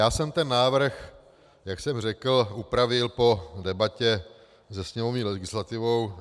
Já jsem ten návrh, jak jsem řekl, upravil po debatě se sněmovní legislativou.